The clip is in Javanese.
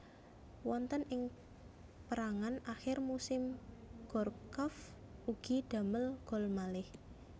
Wonten ing pérangan akhir musim Gourcuff ugi damel gol malih